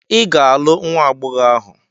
Ị ga-alụ nwa agbọghọ ahụ!